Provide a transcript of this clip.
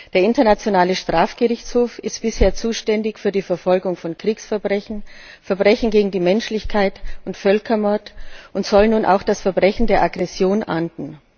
Der Internationale Strafgerichtshof ist bisher zuständig für die Verfolgung von Kriegsverbrechen, Verbrechen gegen die Menschlichkeit und Völkermord und soll nun auch das Verbrechen der Aggression ahnden.